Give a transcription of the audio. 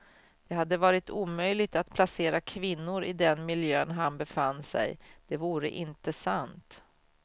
Det hade varit omöjligt att placera kvinnor i den miljön han befann sig, det vore inte sant.